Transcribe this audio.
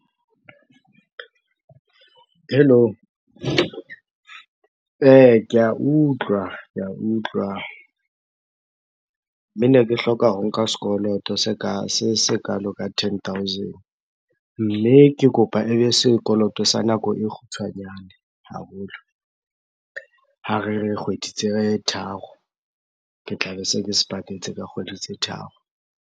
Hello? Ke a utlwa, ke a utlwa. Mme ne ke hloka ho nka sekoloto sekalo ka ten thousand. Mme ke kopa ebe sekoloto sa nako e kgutshwanyane haholo. Ha re re, kgwedi tse tharo. Ke tla be se ke se patetse ka kgwedi tse tharo.